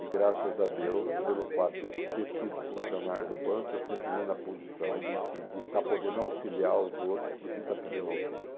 E graças a Deus, pelo fato de eu ter sido funcionário do banco, eu sempre vim na posição de que de estar podendo auxiliar os outros do que está pedindo auxílio.